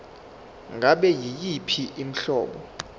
ngabe yiyiphi inhlobo